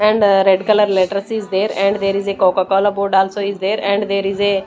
and red colour letters is there and there is a coca cola board also is there and there is a--